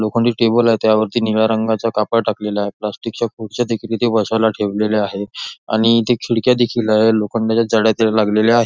लोखंडी टेबल आहे त्यावरती निळ्या रंगाचा कापड टाकलेला आहेप्लॅस्टिकच्या खुर्च्या देखील इथे बसायला ठेवलेल्या आहे. आणि इथे खिडक्या देखील आहेत लोखंडच्या जाळ्या त्याला लागलेल्या आहे.